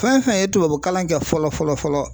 Fɛn fɛn ye tubabu kalan kɛ fɔlɔ fɔlɔ fɔlɔ.